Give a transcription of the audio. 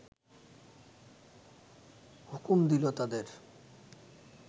হুকুম দিল তাদের